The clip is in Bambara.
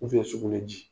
sugunɛ ji